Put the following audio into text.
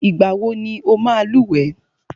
Ìgbà wọ ní ọ máa lúwẹ̀ẹ́?